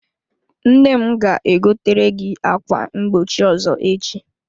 Nne ga-egotere gị ákwá mgbochi ọzọ echi.